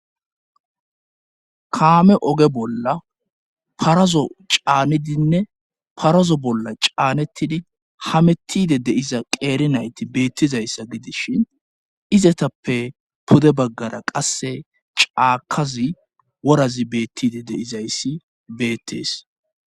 kaame oge bolla parazo caanidinne parazo bolla caanettidi hamettide deiza qeeri nayti beettizayssa gidis shin izatappe pude baggara qasse caakazi worazi beettide deizayssi beettees